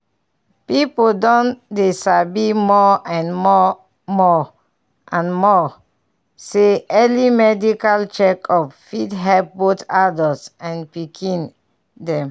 people don dey sabi more and more more and more say early medical check up fit help both adults and pikin dem.